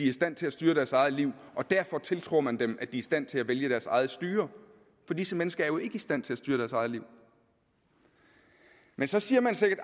i stand til at styre deres eget liv og derfor tiltror man dem at de er i stand til at vælge deres eget styre for disse mennesker er jo ikke i stand til at styre deres eget liv men så siger man sikkert